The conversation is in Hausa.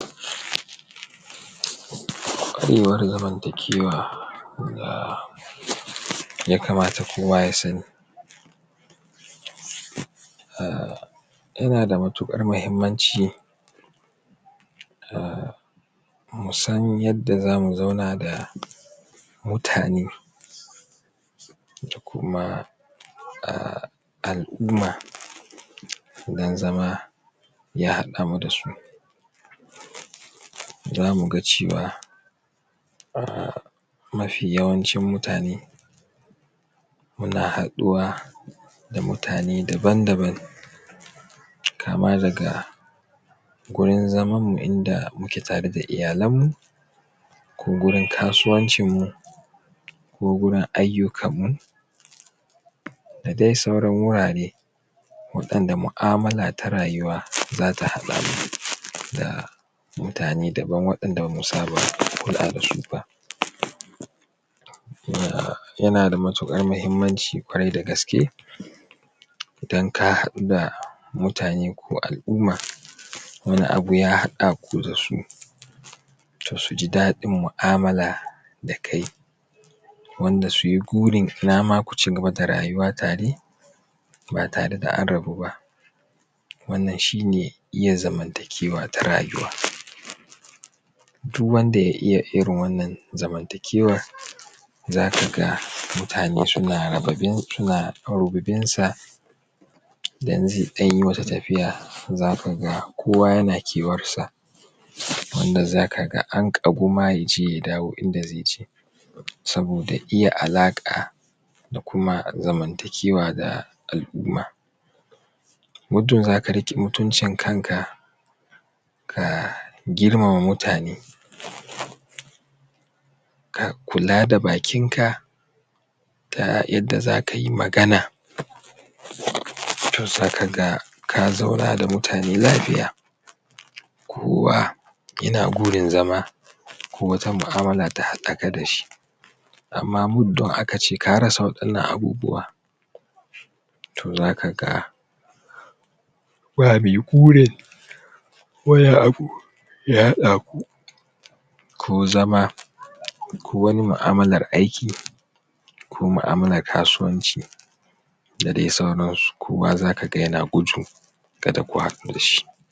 ƙwarewar zamantakewa da ya kamata kowa ya sani uhm yana da matuƙar mahimmanci uhm musan yanda za mu zauna da mutane kuma uhm al'umma idan zama ya haɗamu da su za muga cewa uhm mafi yawancin mutane muna haɗuwa da mutane daban-daban kama daga gurin zamanmu inda muke tare da iyalanmu ko gurin kasuwancinmu ko gurin ayyukanmu da dai sauran wurare waɗanda mu'amala ta rayuwa za ta haɗamu da mutane daban waɗanda ba mu samu kulawa da su ba uhm yana da matuƙar mahimmanci ƙwarai da gaske idan ka haɗu da mutane ko al'umma wani abu ya haɗaku da su to su ji daɗin mu'amala da kai wanda suyi burin inama ku cigaba da rayuwa tare ba tare da an rabu ba wannan shi ne iya zamntakewa ta rayuwa duk wanda ya iya irin wannan zamantakewar zakaga mutane suna suna rububinsa idan zai ɗan yi wata tafiya za kaga kowa yana kewarsa wanda za kaga an ƙagu ma ya je ya dawo inda zai je saboda iya alaƙa da kuma zamantakewa da al'umma muddum za ka riƙe mutuncin kanka ka girmama mutane ka kula da bakinka ta yadda za ka yi magana to za kaga ka zauna da mutane lafiya kowa yana burin zama ko wata ma'amala ta haɗaka da shi amma muddun aka ce ka rasa waɗannan abubuwa to zaka ga ba mai burin wani abu ya haɗaku ko zama ko wani mu'amalar aiki ko mu'amalar kasuwanci da dai sauransu, kowa zaka ga yana gudun kada ku haɗu da shi.